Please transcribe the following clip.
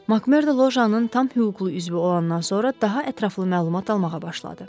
Makmörda lojanın tam hüquqlu üzvü olandan sonra daha ətraflı məlumat almağa başladı.